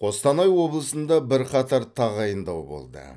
қостанай облысында бірқатар тағайындау болды